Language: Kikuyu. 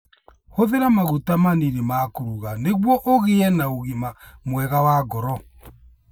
Hũthĩra maguta manini ma kũruga nĩguo ũgĩe na ũgima mwega wa ngoro.